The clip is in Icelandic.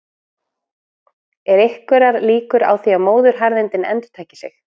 Eru einhverjar líkur á að móðuharðindin endurtaki sig?